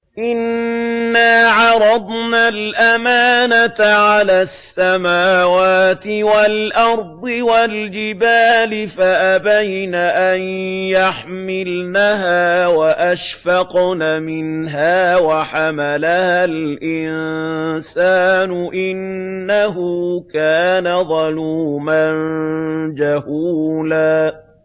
إِنَّا عَرَضْنَا الْأَمَانَةَ عَلَى السَّمَاوَاتِ وَالْأَرْضِ وَالْجِبَالِ فَأَبَيْنَ أَن يَحْمِلْنَهَا وَأَشْفَقْنَ مِنْهَا وَحَمَلَهَا الْإِنسَانُ ۖ إِنَّهُ كَانَ ظَلُومًا جَهُولًا